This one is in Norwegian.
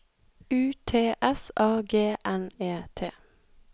U T S A G N E T